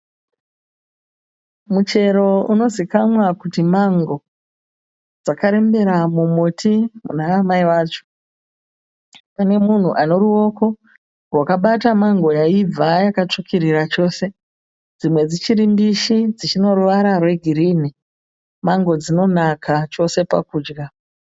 Muchero unozivakanwa kuti mango. Dzakarembera mumuti muna amai vacho. Mune munhu ane ruoko rwakabata mango yaibva yakatsvukurira chose. Dzimwe dzichiri mbishi dzichine ruvara rwegirini. Mango dzinonaka chose pakudya.